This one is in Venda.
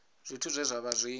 zwithu zwe zwa vha zwi